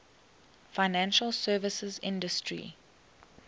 financial services industry